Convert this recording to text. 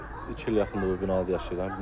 Mən iki ilə yaxındır bu binada yaşayıram.